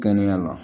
Kɛnɛya la